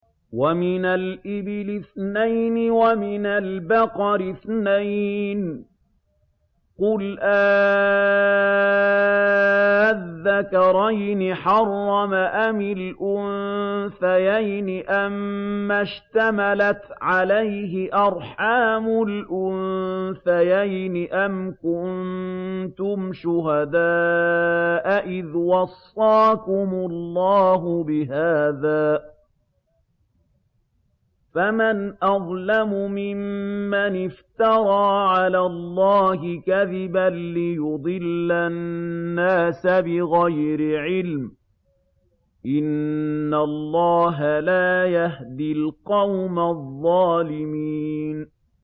وَمِنَ الْإِبِلِ اثْنَيْنِ وَمِنَ الْبَقَرِ اثْنَيْنِ ۗ قُلْ آلذَّكَرَيْنِ حَرَّمَ أَمِ الْأُنثَيَيْنِ أَمَّا اشْتَمَلَتْ عَلَيْهِ أَرْحَامُ الْأُنثَيَيْنِ ۖ أَمْ كُنتُمْ شُهَدَاءَ إِذْ وَصَّاكُمُ اللَّهُ بِهَٰذَا ۚ فَمَنْ أَظْلَمُ مِمَّنِ افْتَرَىٰ عَلَى اللَّهِ كَذِبًا لِّيُضِلَّ النَّاسَ بِغَيْرِ عِلْمٍ ۗ إِنَّ اللَّهَ لَا يَهْدِي الْقَوْمَ الظَّالِمِينَ